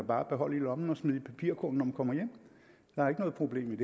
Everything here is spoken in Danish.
bare beholde i lommen og smide i papirkurven når man kommer hjem der er ikke noget problem